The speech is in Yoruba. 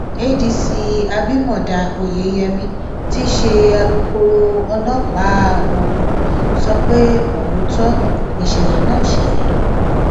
cs] adc abimodá oyeyèmí tí í ṣe alūkkoro ọlọpàá ogun sọ pé òótọ nìṣẹlẹ náà ṣẹlẹ